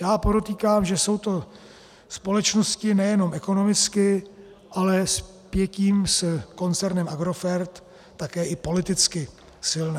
- Já podotýkám, že jsou to společnosti nejenom ekonomicky, ale sepětím s koncernem Agrofert také i politicky silné.